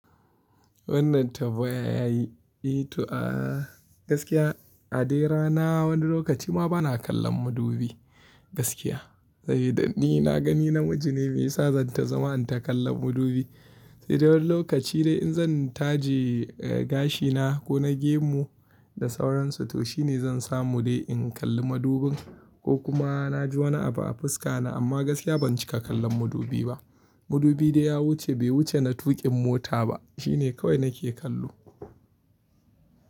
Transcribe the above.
Wannan tambaya yayi eh to a gaskiya a dai rana wani lokaci ma bana kallon madubi gaskiya. Sabida ni naga ni namiji ne me yasa zan ta zama in ta kallon madubi. Sai dai wani lokaci dai in zan taje gashina ko na gemu da sauransu to shi ne zan samu dai in kalli madubin ko kuma na ji wani abu a fuska na amma gaskiya ban cika kallon madubi ba. Madubi dai ya wuce bai wuce na tuƙin mota ba, shi ne kawai nake kallo.